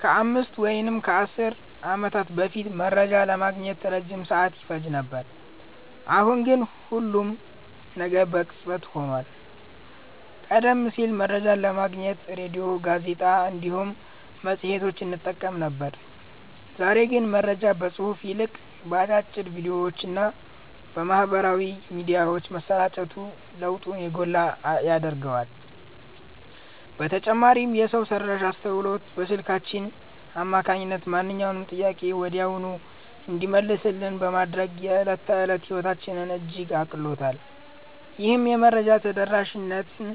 ከአምስት ወይም ከአሥር ዓመታት በፊት መረጃ ለማግኘት ረጅም ሰዓት ይፈጅ ነበር፤ አሁን ግን ሁሉም ነገር በቅጽበት ሆኗል። ቀደም ሲል መረጃን ለማግኘት ሬድዮ፣ ጋዜጣ እንዲሁም መጽሔቶችን እንጠቀም ነበር፤ ዛሬ ግን መረጃ ከጽሑፍ ይልቅ በአጫጭር ቪዲዮዎችና በማኅበራዊ ሚዲያዎች መሰራጨቱ ለውጡን የጎላ ያደርገዋል። በተጨማሪም የሰው ሠራሽ አስተውሎት በስልካችን አማካኝነት ማንኛውንም ጥያቄ ወዲያውኑ እንዲመለስልን በማድረግ የዕለት ተዕለት ሕይወታችንን እጅግ አቅልሎታል። ይህም የመረጃ ተደራሽነትን